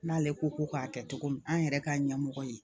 N'ale ko ko k'a kɛ cogo min an yɛrɛ ka ɲɛmɔgɔ ye